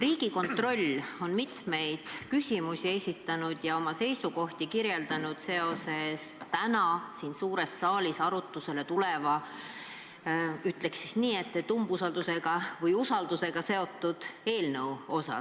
Riigikontroll on mitmeid küsimusi esitanud ja selgitanud oma seisukohti täna siin suures saalis arutusele tuleva usaldus- või ütleksin, umbusaldusküsimusega seotud eelnõu kohta.